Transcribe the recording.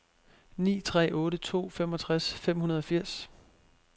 ni tre otte to femogtres fem hundrede og firs